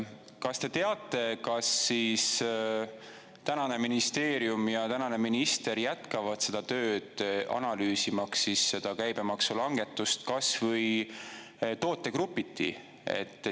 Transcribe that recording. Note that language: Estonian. Kas te teate, kas siis tänane ministeerium ja tänane minister jätkavad seda tööd, analüüsimaks seda käibemaksu langetust kas või tootegrupiti?